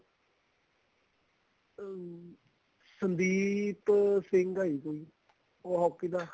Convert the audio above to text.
ਹਮ ਸੰਦੀਪ ਸਿੰਘ ਏ ਜੀ ਕੋਈ ਉਹ hockey ਦਾ